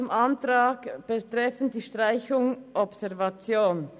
Zum Antrag betreffend Streichung der Artikel unter dem Titel «Observation»: